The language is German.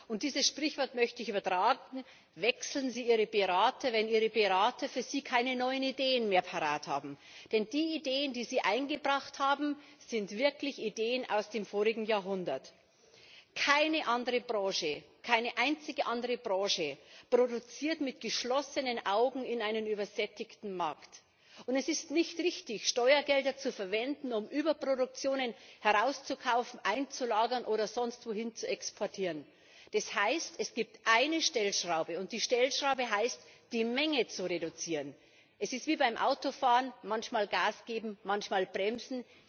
Herr Präsident! Herr Kommissar, es gibt ein Sprichwort, das heißt Wenn das Pferd tot ist, dann steige ab! Und dieses Sprichwort möchte ich übertragen Wechseln Sie Ihre Berater, wenn Ihre Berater für Sie keine neuen Ideen mehr parat haben! Denn die Ideen, die Sie eingebracht haben, sind wirklich Ideen aus dem vorigen Jahrhundert. Keine andere Branche, keine einzige andere Branche produziert mit geschlossenen Augen in einen übersättigten Markt. Und es ist nicht richtig, Steuergelder zu verwenden, um Überproduktionen herauszukaufen, einzulagern oder sonst wohin zu exportieren. Das heißt, es gibt eine Stellschraube, und die Stellschraube heißt, die Menge zu reduzieren. Es ist wie beim Autofahren manchmal Gas geben, manchmal bremsen.